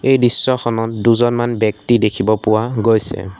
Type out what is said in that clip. এই দৃশ্যখনত দুজনমান ব্যক্তি দেখিব পোৱা গৈছে।